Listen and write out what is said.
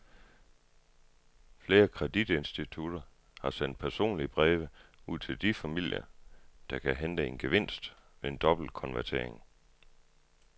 Flere kreditinstitutter har sendt personlige breve ud til de familier, der kan hente en gevinst ved en dobbeltkonvertering.